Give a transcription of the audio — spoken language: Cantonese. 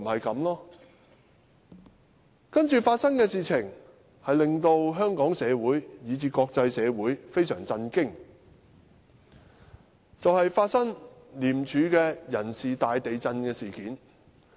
接着發生的事情令香港社會以至國際社會非常震驚，也就是廉署人事大地震事件。